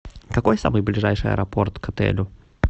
какой самый ближайший аэропорт к отелю